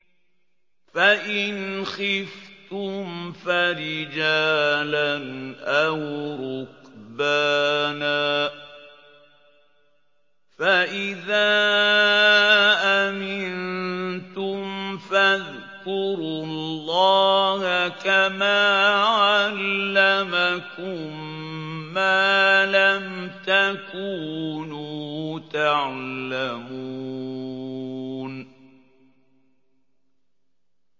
فَإِنْ خِفْتُمْ فَرِجَالًا أَوْ رُكْبَانًا ۖ فَإِذَا أَمِنتُمْ فَاذْكُرُوا اللَّهَ كَمَا عَلَّمَكُم مَّا لَمْ تَكُونُوا تَعْلَمُونَ